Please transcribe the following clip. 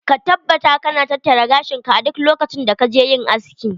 Ka taabbata ka na tattara gashin ka a duk lokacin da ka je yin aski.